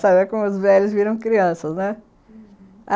como os velhos viram crianças, né? uhum.